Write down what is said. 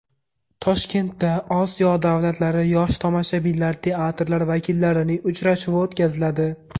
Toshkentda Osiyo davlatlari yosh tomoshabinlar teatrlari vakillarining uchrashuvi o‘tkaziladi.